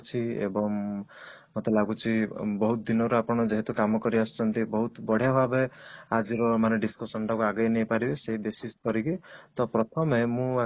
ଅଛି ଏବଂ ମତେ ଲାଗୁଛି ବହୁତ ଦିନ ର ଆପଣ କାମ କରିଆସୁଛନ୍ତି ବହୁତ ବଢିଆ ଭାବରେ ଆଜିର ମାନେ discussion ଟାକୁ ଆଗେଇ ନେଇପାରିବେ ତ ପ୍ରଥମେ